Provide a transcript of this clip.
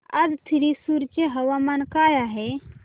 आज थ्रिसुर चे हवामान काय आहे